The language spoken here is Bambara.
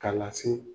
K'a lase